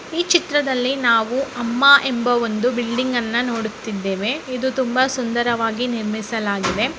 ಈ ಚಿತ್ರದಲ್ಲಿ ನಾವು ಅಮ್ಮ ಎಂಬ ಒಂದು ಬಿಲ್ಡಿಂಗ್ ಅನ್ನು ನೋಡುತ್ತಿದ್ದೇವೆ ಇದು ತುಂಬಾ ಸುಂದರವಾಗಿ ನಿರ್ಮಿಸಲಾಗಿದೆ.